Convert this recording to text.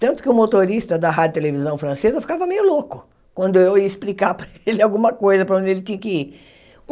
Tanto que o motorista da rádio e televisão francesa ficava meio louco quando eu ia explicar para ele alguma coisa, para onde ele tinha que ir.